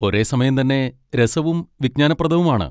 ഒരേസമയം തന്നെ രസവും വിജ്ഞാനപ്രദവും ആണ്.